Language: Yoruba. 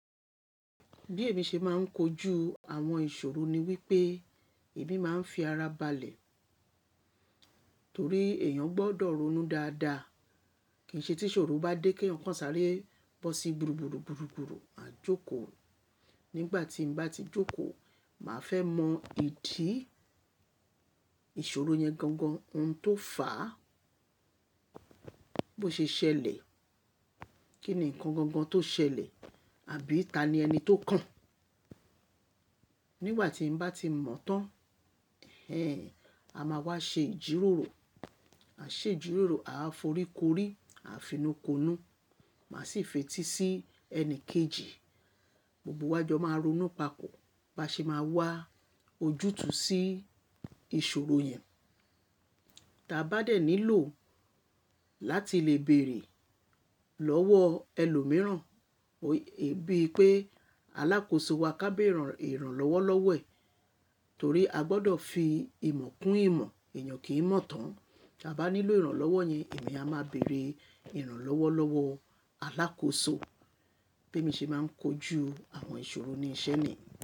Bí èmi ṣe máa ń kojú àwọn ìṣòro ni wípé èmi máa ń fi ara balẹ̀ torí èèyàn gbọdọ̀ ronú dáadáa. Kìí ṣe tí ìṣòro bá dé kí èèyàn kàn sáré bọ́ sí gburúgburú, gburúgburú, ko jókòó. Nígbà tí mo bá ti jókòó, màá fẹ́ mọ ìdí ìṣòro yẹn gangan. Ohun tó fà á, bó ṣe ṣẹlẹ̀, kí ni ǹkan gangan tó ṣẹlẹ̀ àbí ta ni ẹni tó kàn án? Nígbà tí mo bá ti mọ̀ tán, ẹ a máa wá ṣe ìjíròrò, a ṣe ìjíròrò, a foríkorìí, a finukonu, màá sì fetí sí ẹni kejì. Gbogbo wá jọ máa ronú papọ̀, bá ṣe máa wá ojútùú sí ìṣòro yẹn. Ta bá dẹ̀ nílò láti lè bèrè lọ́wọ́ ẹlòmíràn, bíi pé alákòóso wa ká bẹ̀rẹ̀ i i ìrànlọ́wọ́ lọ́wọ́ ẹ̀ torí a gbọdọ̀ fi ìmọ̀ kún ìmọ̀, èèyàn kì í mọ̀ tán. Tí a bá nílò ìrànlọ́wọ́ yẹn, èmi a máa bèrè ìrànlọ́wọ́ lọ́wọ́ alákòóso. Bí mo ṣe máa ń kojú àwọn ìṣòro ni iṣẹ́ ni.